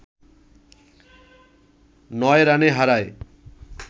৯ রানে হারায়